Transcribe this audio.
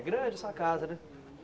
É grande essa casa, né?